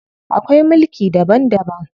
Akwai mulki daban daban.